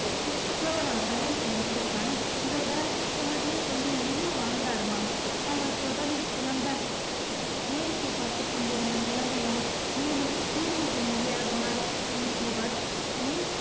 நீ நினைச்சிருந்தா உன் தம்பிகிட்ட பேசி ஷோபனாவ கல்யாணம் பண்ணி வச்சிருக்கலாம்ல. இவ வேற சொன்னதே சொல்லி ஏன் உயிரை வாங்குறாரு அம்மா அவள் தொடர்ந்து புலம்ப வேடிக்கை பார்த்துக் கொண்டிருந்த குழந்தைகளை மேலே video game விளையாடுமாறு அனுப்பியவர்